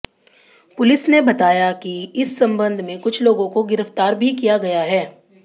police ने बताया कि इस संबंध में कुछ लोगों को गिरफ्तार भी किया गया है